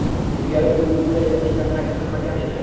Ilgari u bunday natija qayd qilmagan edi.